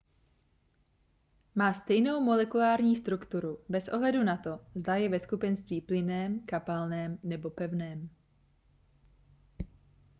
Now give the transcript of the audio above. má stejnou molekulární strukturu bez ohledu na to zda je ve skupenství plynném kapalném nebo pevném